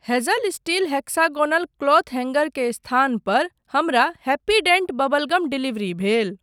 Hazel steel hexagonal cloth hanger के स्थान पर हमरा happy dent bubble gum delivery भेल।